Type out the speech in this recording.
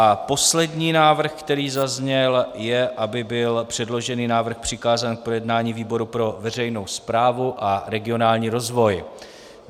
A poslední návrh, který zazněl, je, aby byl předložený návrh přikázán k projednání výboru pro veřejnou správu a regionální rozvoj.